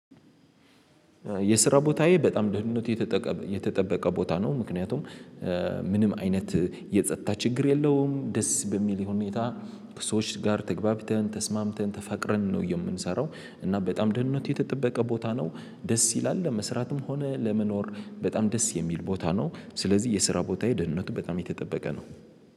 የስራ ቦታዬ በጣም ድህነት የተጠበቀ ቦታ ነው። ምክንያቱም ምንም አይነት የጸጥታ ችግር የለውም። ደስ በሚል ሁኔታ ሰዎች ጋር ተገቢተን ተስማምተን ተፈቅረን ነው። የምንሰራው እና በጣም ደህንነት የተጠበቀ ቦታ ነው። ደስ ይላል ለመስራትም ሆነ ለመኖር በጣም ደስ የሚል ቦታ ነው። ስለዚህ የስራ ቦታ የደህንነቱ በጣም የተጠበቀ ነው